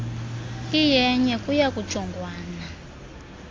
iyenye kuya kujongwana